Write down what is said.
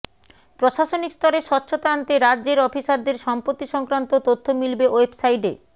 প্রশাসনিক স্তরে স্বচ্ছতা আনতে রাজ্যের অফিসারদের সম্পত্তি সংক্রান্ত তথ্য মিলবে ওয়েবসাইটে